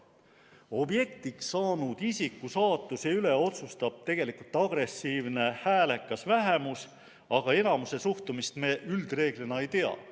Objektiks saanud isiku saatuse üle otsustab tegelikult agressiivne, häälekas vähemus, aga enamuse suhtumist me üldreeglina ei tea.